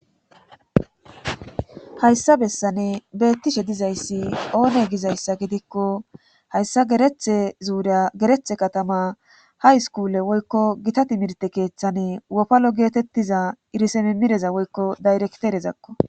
hayssa bessane beettishe dizayssi oone gizayssa gidikko hayssa gerethe zuuriya gerethe katama ha iskuule woykko gita timirte keeththani wofalo geetettiza irise mimmireza woykko dayrekterezakko